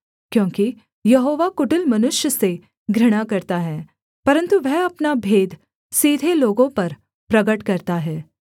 क्योंकि यहोवा कुटिल मनुष्य से घृणा करता है परन्तु वह अपना भेद सीधे लोगों पर प्रगट करता है